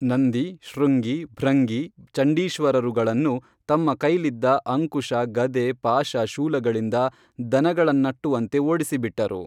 ನಂದಿ ಶೃಂಗಿ ಭೃಂಗಿ ಚಂಡೀಶ್ವರರುಗಳನ್ನು ತಮ್ಮ ಕೈಲಿದ್ದ ಅಂಕುಶ ಗದೆ ಪಾಶ ಶೂಲಗಳಿಂದ ದನಗಳನ್ನಟ್ಟುವಂತೆ ಓಡಿಸಿಬಿಟ್ಟರು